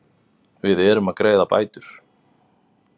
Við erum að greiða bætur.